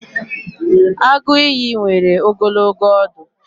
Agụ ìyì nwere ogologo ọdụ.